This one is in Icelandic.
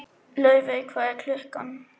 Laufey, hvað er klukkan?